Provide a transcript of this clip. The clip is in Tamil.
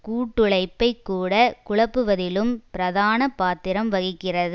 கூட்டுழைப்பைக்கூட குழப்புவதிலும் பிரதான பாத்திரம் வகிக்கிறது